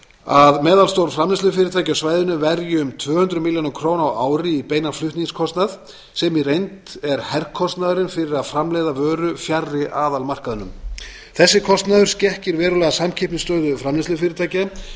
að meðalstór framleiðslufyrirtæki á svæðinu verji um tvö hundruð milljóna króna á ári í beinan flutningskostnað sem í reynd er herkostnaðurinn fyrir að framleiða vöru fjarri aðalmarkaðnum þessi kostnaður skekkir verulega samkeppnisstöðu framleiðslufyrirtækja sem